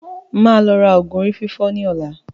Máa lọ ra oògùn orí fífọ́ ní ọ̀la